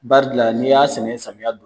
Bari la n'i y'a sɛnɛ samiya don.